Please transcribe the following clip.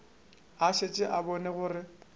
a šetše a bone gore